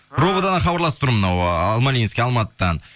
ровд дан хабарласып тұрмын мынау ыыы алмалинский алматыдан